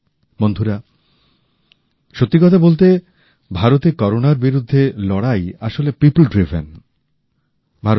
বন্ধুরা সত্যি কথা বলতে কি ভারতের করোনার বিরুদ্ধে লড়াই আসলে পিপল ড্রিভেন জনগণের পরিচালিত উদ্যোগ